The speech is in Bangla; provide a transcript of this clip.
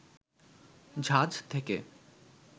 ঝাঁজ থেকে